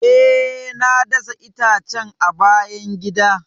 E, na dasa itacen a bayan gida.